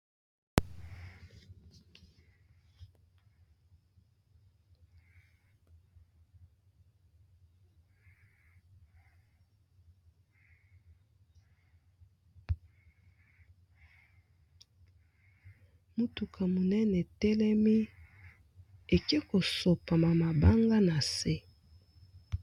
Mutuka monene etelemi eke kosopa mabanga na se.